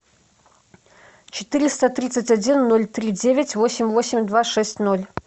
четыреста тридцать один ноль три девять восемь восемь два шесть ноль